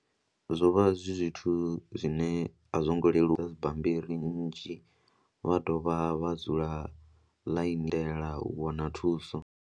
Zwo vha zwi zwithu zwine a zwo ngo leluwa bammbiri nnzhi vha dovha vha dzula vha lindela u wana thuso.